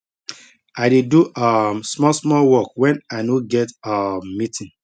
i dey do um small small work wen i no get um meeting